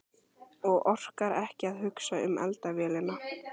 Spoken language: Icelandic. Og orkar ekki að hugsa um eldavélina.